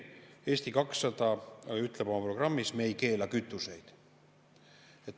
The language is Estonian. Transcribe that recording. Eesti 200 ütleb oma programmis ja ma tsiteerin: "Me ei keela kütuseid.